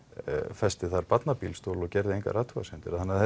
festi þar barnabílstól og gerði engar athugasemdir þannig að